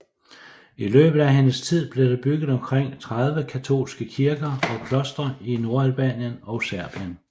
I løbet af hendes tid blev der bygget omkring 30 katolske kirker og klostre i Nordalbanien og Serbien